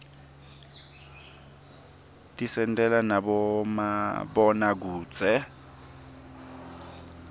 tisentela nabomabonakudze